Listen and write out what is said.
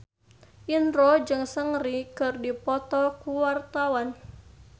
Indro jeung Seungri keur dipoto ku wartawan